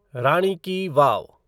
रानी ki वाव